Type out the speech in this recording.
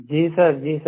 जी sir जी sir